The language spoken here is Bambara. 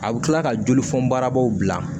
A bɛ kila ka joli funbaaraw bila